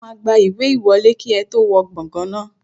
Wọ́n máa gba ìwé ìwọlé kí ẹ tó wọ gbàngàn náà